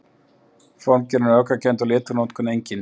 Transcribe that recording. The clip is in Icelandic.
Formgerðin er öfgakennd og litanotkun einnig.